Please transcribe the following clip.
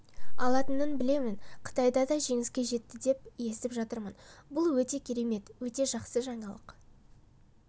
алатынын білемін қытайда да жеңіске жетті деп естіп жатырмын бұл өте керемет өте жақсы жаңалық